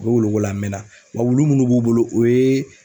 U bɛ wuluko la a mɛnna wa wulu minnu b'u bolo o ye